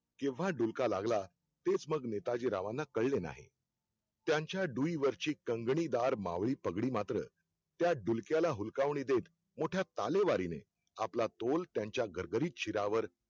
केंव्हा डुलका लागला तेच मग नेताजीरावांना कळले नाही. त्यांचा डुईवरची कंगणीदार मावळी पगडीमात्र, त्या डुलक्याला हुलकावणी देत मोठ्या तालेवारीने आपला तोल त्यांच्या गरगरीत शिरावर